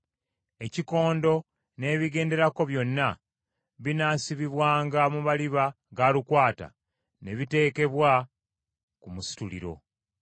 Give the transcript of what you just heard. Ekikondo n’ebigenderako byonna binaasibibwanga mu maliba ga lukwata ne biteekebwa ku musituliro.